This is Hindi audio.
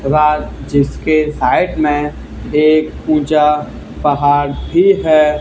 रा जिसके साइड में एक ऊंचा पहाड़ भी है।